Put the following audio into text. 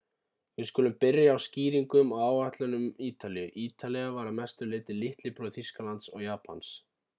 við skulum byrja á skýringum á áætlunum ítalíu ítalía var að mestu litli bróðir þýskalands og japans